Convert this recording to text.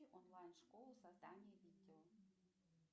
онлайн школа создания видео